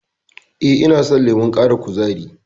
E, ina son lemon ƙara kuzari.